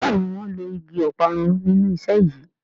Béèni wón ló ìgi Ọparun nínú iṣé yí.